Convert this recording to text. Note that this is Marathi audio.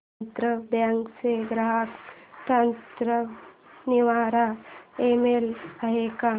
आंध्रा बँक चा ग्राहक तक्रार निवारण ईमेल आहे का